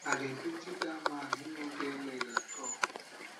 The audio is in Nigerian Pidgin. i dey pity dat man he no get leg at all